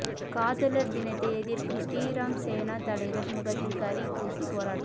காதலர் தினத்தை எதிர்க்கும் ஸ்ரீராம் சேனா தலைவர் முகத்தில் கரி பூசி போராட்டம்